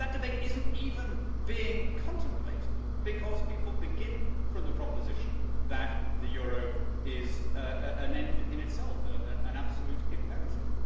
But that debate is not even being contemplated, because people begin from the proposition that the euro is an end in itself, an absolute imperative.